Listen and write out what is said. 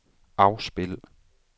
afspil